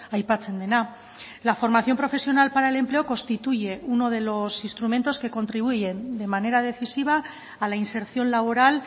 aipatzen dena la formación profesional para el empleo constituye uno de los instrumentos que contribuyen de manera decisiva a la inserción laboral